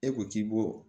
E ko k'i bo